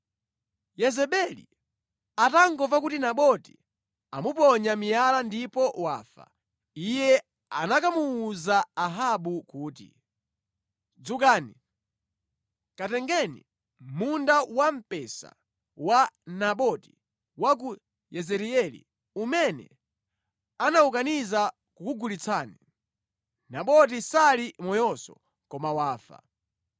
Yezebeli atangomva kuti Naboti amuponya miyala ndipo wafa, iye anakamuwuza Ahabu kuti, “Dzukani, katengeni munda wamphesa wa Naboti wa ku Yezireeli umene anawukaniza kukugulitsani. Naboti sali moyonso, koma wafa.”